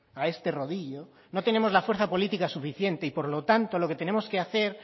a este rodillo no tenemos la fuerza política suficiente y por lo tanto lo que tenemos que hacer